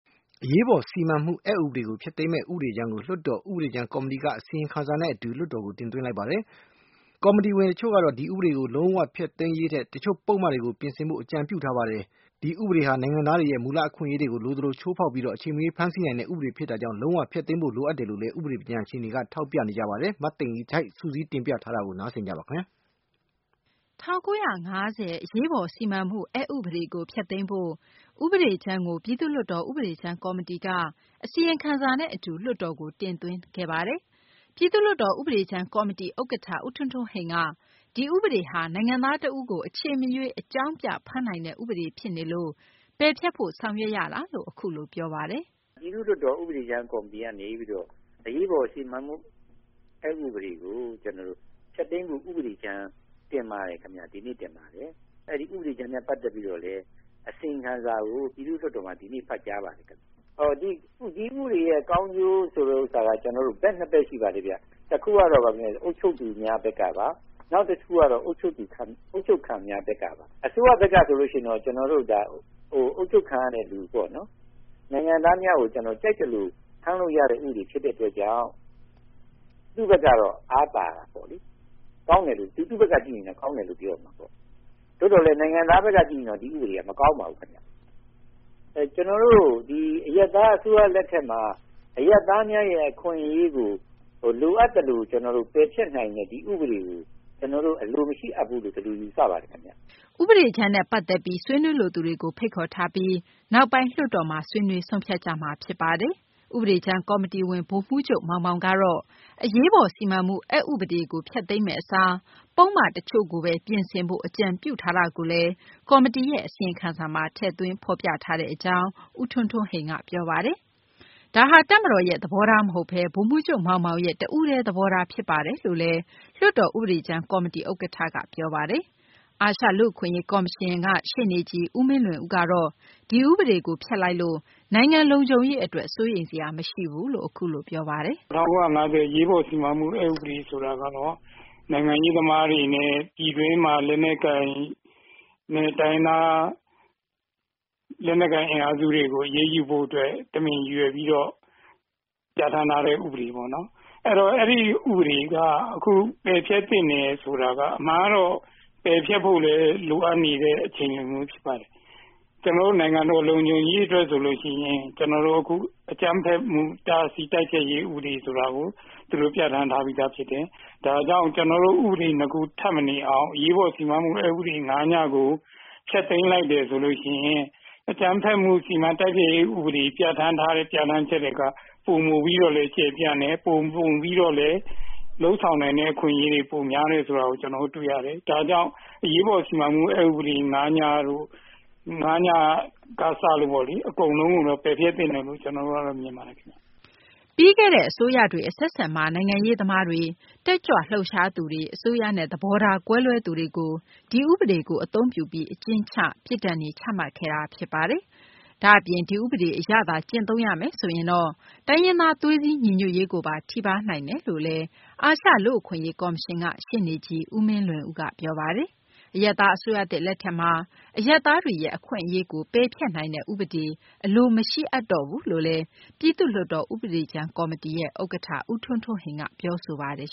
အရေးပေါ် စီမံမှု အက်ဥပဒေကို ဖျက်သိမ်းမယ့် ဥပဒေကြမ်းကို လွှတ်တော် ဥပဒေကြမ်းကော်မတီက အစီရင်ခံစာနဲ့ အတူ လွှတ်တော်ကို တင်သွင်းပါတယ်။ ကော်မတီဝင် တချို့ကတော့ ဒီဥပဒေ လုံး၀ ဖျက်သိမ်းရေးထက် တချို့ပုဒ်မတွေကိုသာ ပြင်ဆင်ဖို့ အကြံပြုထားပါတယ်။ ဒီဥပဒေဟာ နိုင်ငံသားတွေရဲ့ မူလ အခွင့်အရေးကို လိုသလို ချိုးဖောက်ပြီး အချိန်မရွေး ဖမ်းဆီးနိုင်တဲ့ ဥပဒေ ဖြစ်တာကြောင့် လုံး၀ ဖျက်သိမ်းဖို့ လိုအပ်တယ်လို့လည်း ဥပဒေ ပညာရှင်တွေက ထောက်ပြပါတယ်။ မသိင်္ဂ ီထိုက် စုစည်းတင်ပြထားပါတယ်။ ၁၉၅၀ အရေးပေါ် စီမံမှု အက်ဥပဒေကို ဖျက်သိမ်းဖို့ ဥပဒေကြမ်းကို ပြည်သူ့လွှတ်တော် ဥပဒေကြမ်း ကော်မတီက အစီရင်ခံစာနဲ့ အတူ လွှတ်တော်ကို တင်သွင်းခဲ့ပါတယ်။ ပြည်သူ့လွှတ်တော် ဥပဒေကြမ်း ကော်မတီ ဥက္ကဌ ဦးထွန်းထွန်းဟိန်က ဒီဥပဒေဟာ နိုင်ငံသား တဦးကို အချိန်မရွေး အကြောင်းပြပြီး ဖမ်းနိုင်တဲ့ ဥပဒေ ဖြစ်နေလို့ ပယ်ဖျက်ဖို့ ဆောင်ရွက်ရ တာ ဖြစ်တယ်လို့ အခုလို ပြောပါတယ်။ “ပြည်သူ့လွှတ်တော် ဥပဒေကြမ်းကော်မတီကနေပြီးတော့ အရေးပေါ်စီမံမှုအက်ဥပဒေကို ဖျက်သိမ်းဖို့ ဥပဒေကြမ်း တင်ပါတယ်ခင်ဗျ။ ဒီနေ့တင်ပါတယ်။ အဲဒီ ဥပဒေကြမ်းနဲ့ ပတ်သက်ပြီးတော့လည်း အစီရင်ခံစာကို ပြည်သူ့လွှတ်တော်မှာ ဒီနေ့ ဖတ်ကြားပါတယ်။ ဒီဥပဒေရဲ့ ကောင်းကျိုး ဆိုတဲ့နေရာမှာ ကျနော်တို့ ဘက်နှစ်ဖက်ရှိပါတယ်။ တခုကတော့ အုပ်ချုပ်သူများ ဘက်ကပါ။ နောက်တခုကတော့ အုပ်ချုပ်ခံများ ဘက်က ပါ။ အစိုးရဘက်ကဆိုရင်တော့ အုပ်ချုပ်ခံနိုင်ငံသားများကို ကြိုက်သလို ဖမ်းလို့ရတဲ့ ဥပဒေဖြစ်တဲ့အတွက်ကြောင့် သူ့ဘက်ကတော့ အားသာတာပေါ့လေ။ သူ့ဘက်ကကြည့်ရင်တော့ ကောင်းတယ်လို့ပြောရမှာပေါ့။ သို့သော်လည်း နိုင်ငံသားဘက်က ကြည့်ရင် မကောင်းပါဘူးခင်ဗျ။ ကျနော်တို့ အရပ်သားအစိုးရ လက်ထက်မှာ အရပ်သားများရဲ့အခွင့်အရေးကို လိုအပ်သလို၊ ပယ်ဖျက်နိုင်တဲ့ ဒီဥပဒေကို၊ အလိုမရှိအပ်ဘူးလို့ ဒီလိုယူဆပါတယ်ခင်ဗျ။” ဒီဥပဒေကြမ်းနဲ့ ပတ်သက်ပြီး ဆွေးနွေးလိုသူတွေကို ဖိတ်ခေါ်ထားပြီး နောက်ပိုင်း လွှတ်တော်မှာ ဆွေးနွေးဆုံးဖြတ်ကြမှာပါ။ ဥပဒေကြမ်းကော်မတီဝင် ဗိုလ်မှူးချုပ် မောင်မောင်ကတော့ အရေးပေါ် စီမံမှု အက်ဥပဒေကို ဖျက်သိမ်းမယ့် အစား ပုဒ်မ တချို့ကို ပြင်ဆင်ဖို့ အကြံပြုချက်ကိုလည်း ကော်မတီရဲ့ အစီရင်ခံစာမှာ ထည့်သွင်း ရေးသားထားတဲ့ အကြောင်း ဦးထွန်းထွန်းဟိန်က ပြောပါတယ်။ ဒါဟာ တပ်မတော်ရဲ့ သဘောထား မဟုတ်ဘဲ ဗိုလ်မှူးချုပ် မောင်မောင်ရဲ့ သဘောထား ဖြစ်ပါတယ်လို့လည်း လွှတ်တော် ဥပဒေကြမ်း ကော်မတီ ဥက္ကဌ ဦးထွန်းထွန်းဟိန်က ပြောပါတယ်။ အာရှလူ့အခွင့်အရေး ကော်မရှင်က ရှေ့နေကြီး ဦးမင်းလွင်ဦးကတော့ ဒီဥပဒေကို ဖျက်လိုက်လို့ နိုင်ငံလုံခြုံရေး အတွက် စိုးရိမ်စရာ မရှိဘူးလို့ အခုလို ပြောပါတယ်။ “၁၉၅၀ အရေးပေါ်စီမံမှု ဥပဒေ ဆိုတာကတော့ နိုင်ငံရေးသမားတွေနဲ့ ပြည်တွင်းမှာ လက်နက်ကိုင် အင်အားစုတွေကို အရေးယူဖို့ အတွက် တမင်ပြထန်းထားတာဖြစ်ပါတယ်။ တမင်ပြထန်းထားတဲ့ဥပဒေပေါ့နော်။ အဲတော့ အဲဒီဥပဒေကို ပယ်ဖျက်သင့်တယ်ဆိုတာက အမှန်ကတော့ ပယ်ဖျက်ဖို့လည်း လိုအပ်နေတဲ့ အချိန်လည်း ဖြစ်ပါတယ်။ ကျနော်တို့ နိုင်ငံတော် လုံခြုံ ရေးအတွက်ဆိုရင် အခု အကြမ်းဖက်မှု တိုက်ဖျက်တားဆီးရေးဆိုတဲ့ ဥပဒေကို သူတို့ပြထန်းထားပြီးသားဖြစ်တယ်။ ဒါကြောင့် ဥပဒေ ၂ ခုထပ်မနေအောင် အရေးပေါ်စီမံချက်ဥပဒေ ၅ ဆိုတာကို ဖျက်သိမ်းလိုက်တယ် ဆိုလို့ရှိရင် အကြမ်းဖက်မှု စီမံတိုက်ဖျက်ရေး ဥပဒေ ပြထန်းထားတဲ့ ပြထန်းချက်ထက် ပိုမို ပြီးတော့လည်း ကျယ်ပြန့်တယ်၊ ပိုမိုပြီးတော့လည်း လုပ်ဆောင်ပိုင်ခွင့် ပိုများတယ် ဆိုတာကို ကျနော်တို့ တွေ့ရတယ်။ ဒါကြောင့် အရေးပေါ် စီမံချက် ဥပဒေ ၅ က စလို့ပေါ့လေ အကုန်လုံးကို ပယ်ဖျက်သင့်တယ်လို့ ကျနော်တို့ မြင်ပါတယ်။” ပြီးခဲ့တဲ့ အစိုးရတွေ အဆက်ဆက်မှာ နိုင်ငံရေးသမားတွေ၊ တက်ကြွလှုပ်ရှားသူတွေ၊ အစိုးရနဲ့ သဘောထား ကွဲလွဲသူတွေကိုဒီဥပဒေ အသုံးပြုပြီး အကျဉ်းချခဲ့တာ ဖြစ်ပါတယ်။ ဒါ့အပြင် ဒီဥပဒေအရသာ ကျင့်သုံးရမယ်ဆိုရင်တော့ တိုင်းရင်းသား သွေးစည်းညီညွတ်ရေးကိုပါ ထိပါးနိုင်တယ်လို့လည်း အာရှ လူ့အခွင့်အရေး ကော်မရှင်က ရှေ့နေကြီး ဦးမင်းလွင်ဦးက ပြောပါတယ်။ အရပ်သား အစိုးရသစ် လက်ထက်မှာ အရပ်သားများရဲ့ အခွင့်အရေးကို ပယ်ဖျက်နိုင်တဲ့ ဥပဒေကို အလိုမရှိအပ်တော့ဘူးလို့လည်း ပြည်သူ့လွှွတ်တော် ဥပဒေကြမ်း ကော်မတီ ဥက္ကဌက ပြောဆိုပါတယ်